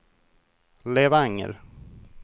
Levanger